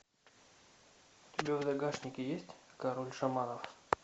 у тебя в загашнике есть король шаманов